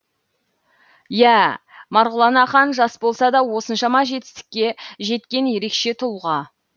иә марғұлан ақан жас болса да осыншама жетістікке жеткен ерекше тұлға